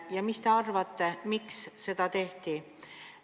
Ja mis te arvate, miks seda tehti?